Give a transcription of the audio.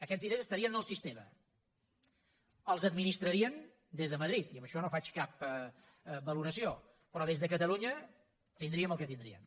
aquests diners estarien en el sistema els administrarien des de madrid i amb això no faig cap valoració però des de catalunya tindríem el que tindríem